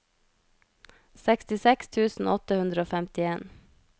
sekstiseks tusen åtte hundre og femtien